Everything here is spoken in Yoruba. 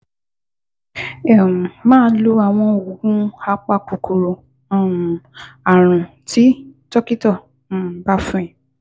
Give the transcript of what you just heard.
um Máa lo àwọn oògùn apakòkòrò um ààrùn tí dókítà um bá fún ẹ